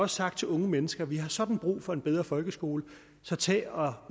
sagt til unge mennesker vi har sådan brug for en bedre folkeskole så tag og